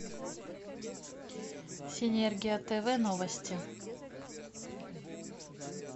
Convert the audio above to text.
синергия тв новости